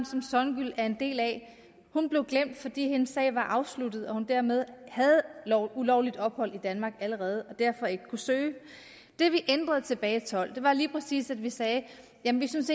som songül er en del af hun blev glemt fordi hendes sag var afsluttet hun havde dermed ulovligt ophold i danmark allerede og kunne derfor ikke søge det vi ændrede tilbage tolv var lige præcis at vi sagde jamen vi synes